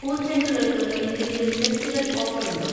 പൂച്ചെണ്ടുകൾ ക്ക് എന്തെങ്കിലും ഫെസ്റ്റിവൽ ഓഫറുണ്ടോ?